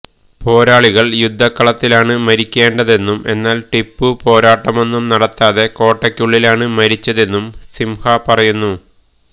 പോരാളികള് യുദ്ധക്കളത്തിലാണ് മരിക്കേണ്ടതെന്നും എന്നാല് ടിപ്പു പോരാട്ടമൊന്നും നടത്താതെ കോട്ടയ്ക്കുള്ളിലാണ് മരിച്ചതെന്നും സിംഹ പറയുന്നു